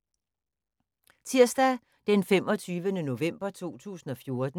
Tirsdag d. 25. november 2014